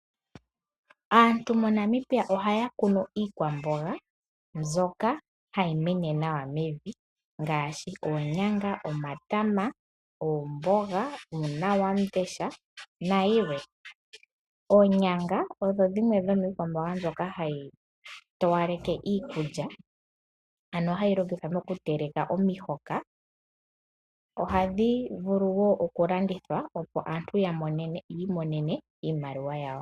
Aantu moNamibia ohaya kunu iikwamboga mbyoka hayi mene nawa ngaashi oonyanga, omatama, oomboga, uunawamundesha nayilwe. Oonyanga oyo yimwe yommikwamboga mbyoka hayi longithwa okuyowalekitha omihoka nohadhi vulu okulandithwa aantu ya mone iimaliwa yawo.